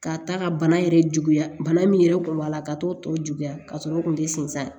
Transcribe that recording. Ka taa ka bana yɛrɛ juguya bana min yɛrɛ kun b'a la ka t'o tɔ juguya ka sɔrɔ o tun bɛ sinsin a kan